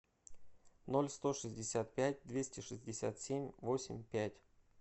ноль сто шестьдесят пять двести шестьдесят семь восемь пять